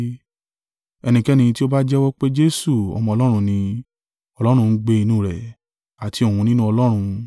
Ẹnikẹ́ni tí ó bá jẹ́wọ́ pé Jesu Ọmọ Ọlọ́run ni, Ọlọ́run ń gbé inú rẹ̀, àti òun nínú Ọlọ́run.